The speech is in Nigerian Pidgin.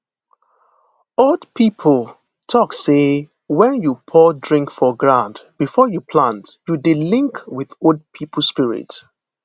old people talk say when you pour drink for ground before you plant you dey link with old people spirit